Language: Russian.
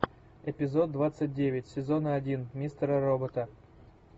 эпизод двадцать девять сезона один мистера робота